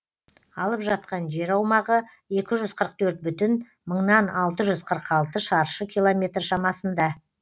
алып жатқан жер аумағы екі жүз қырық төрт бүтін мыңнан алты жүз қырық алты шаршы километр шамасында